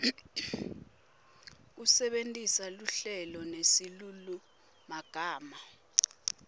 kusebentisa luhlelo nesilulumagama